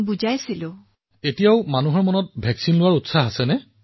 প্ৰধানমন্ত্ৰীঃ এতিয়াও প্ৰতিষেধক গ্ৰহণৰ ক্ষেত্ৰত মানুহ উৎসাহীনে